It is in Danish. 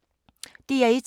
DR1